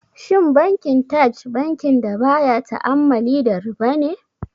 Shin Bankin Taj bankin da baya ta'ammali da riba ne?